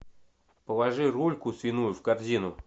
положи рульку свиную в корзину